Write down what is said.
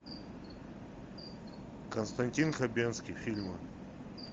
константин хабенский фильмы